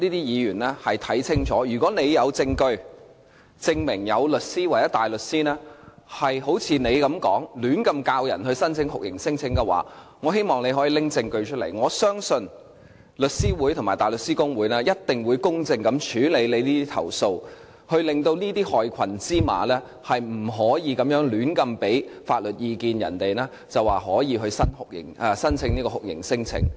如果議員有證據證明，有律師或大律師胡亂教導難民申請酷刑聲請的話，我希望她可以拿出證據，我相信律師會及大律師公會一定會公正處理投訴，令這些害群之馬不能夠胡亂為人們提供法律意見，說可以申請酷刑聲請。